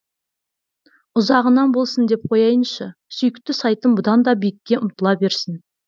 ұзағынан болсын деп қояйыншы сүйікті сайтым бұдан да биікке ұмтыла берсін